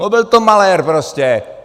No byl to malér prostě.